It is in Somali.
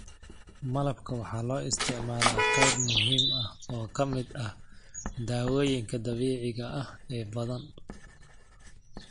Malabka waxaa loo isticmaalaa qayb muhiim ah oo ka mid ah dawooyinka dabiiciga ah ee badan.